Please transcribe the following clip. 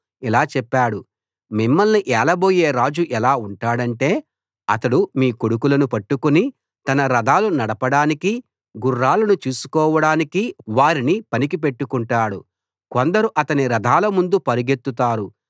ఇలా చెప్పాడు మిమ్మల్ని ఏలబోయే రాజు ఎలా ఉంటాడంటే అతడు మీ కొడుకులను పట్టుకుని తన రథాలు నడపడానికి గుర్రాలను చూసుకోవడానికి వారిని పనికి పెట్టుకుంటాడు కొందరు అతని రథాల ముందు పరుగెత్తుతారు